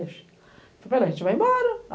Falei para ele, a gente vai embora.